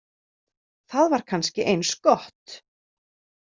Það var kannski eins gott.